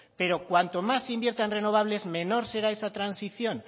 pero cuanto más se invierta en renovables menor será esa transición